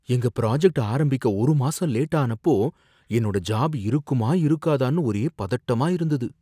எங்க ப்ராஜக்ட் ஆரம்பிக்க ஒரு மாசம் லேட் ஆனப்போ என்னோட ஜாப் இருக்குமா இருக்காதான்னு ஒரே பதட்டமா இருந்தது.